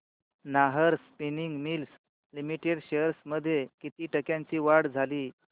Nahar spinning mills limited shares मध्ये किती टक्क्यांची वाढ झाली